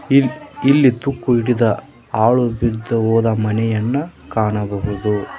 ಇಲ್ ಇಲ್ಲಿ ತುಕ್ಕು ಹಿಡಿದ ಹಾಳು ಬಿದ್ದು ಹೋದ ಮನೆಯನ್ನ ಕಾಣಬಹುದು.